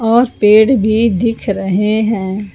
और पेड़ भी दिख रहे हैं।